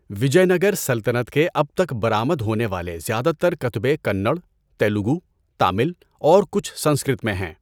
وجے نگر سلطنت کے اب تک برآمد ہونے والے زیادہ تر کتبے کنڑ، تیلگو، تامل، اور کچھ سنسکرت میں ہیں۔